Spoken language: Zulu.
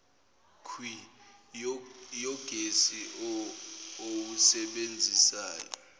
kwh yogesi owusebenzisayo